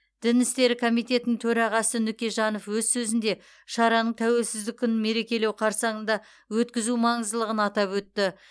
дін істері комитетінің төрағасы нүкежанов өз сөзінде шараның тәуелсіздік күнін мерекелеу қарсаңында өткізу маңыздылығын атап өтті